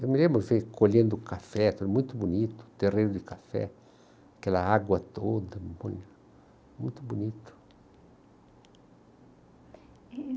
Eu me lembro, eu fui colhendo café, aquilo muito bonito, terreiro do café, aquela água toda, muito bonito. E